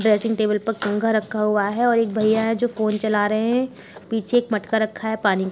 Dressing table पर कंघा रखा हुआ है और एक भैया है जो फोन चला रहे हैं। पीछे एक मटका रखा है पानी --